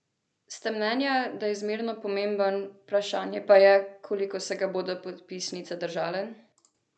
Ste mnenja, da je zmerno pomemben, vprašanje pa je, koliko se ga bodo podpisnice držale?